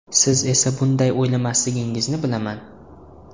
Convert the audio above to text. Siz esa bunday o‘ylamasligingizni bilaman.